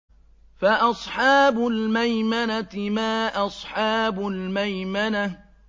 فَأَصْحَابُ الْمَيْمَنَةِ مَا أَصْحَابُ الْمَيْمَنَةِ